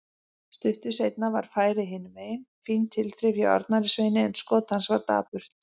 Stuttu seinna var færi hinumegin, fín tilþrif hjá Arnari Sveini en skot hans var dapurt.